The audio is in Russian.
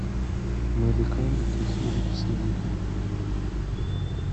маликам тохир содигов